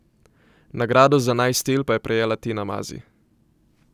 Nagrado za naj stil pa je prejela Tina Mazi.